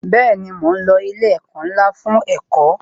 Bẹẹni, mo ń lo ilé ẹ̀kọ́ ńlá fún ẹ̀kọ́